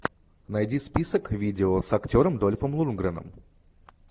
найди список видео с актером дольфом лундгреном